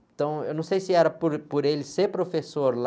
Então, eu não sei se era por, por ele ser professor lá...